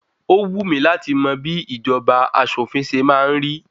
Ó wù mí láti mọ bí ìjọba aṣòfin ṣe máa ń rí.